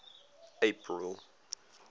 april